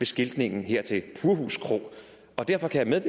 skiltningen her til purhus kro og derfor kan jeg